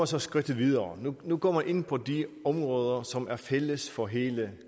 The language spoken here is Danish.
så skridtet videre nu går man ind på de områder som er fælles for hele